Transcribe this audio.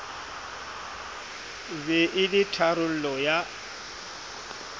be e le tharollo ya